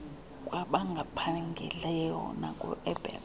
kwabangaphangeliyo naku abet